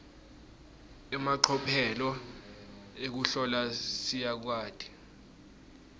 emacophelo ekuhlola siyakwati